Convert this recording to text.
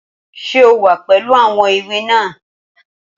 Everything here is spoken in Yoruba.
Ṣé o wà pẹ̀lú àwọn ìwé náà?